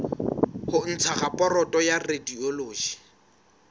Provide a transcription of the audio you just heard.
ho ntsha raporoto ya radiology